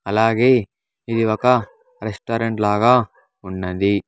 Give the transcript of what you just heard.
అలాగే ఇది ఒక రెస్టారెంట్ లాగా ఉన్నది.